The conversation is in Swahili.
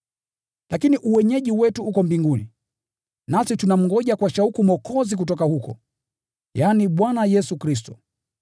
Lakini uenyeji wetu uko mbinguni. Nasi tunamngoja kwa shauku Mwokozi kutoka huko, yaani, Bwana Yesu Kristo,